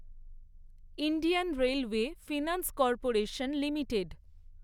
Indian railway finance corporation limited